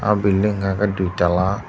oh hwnka hwnkhe dui tala.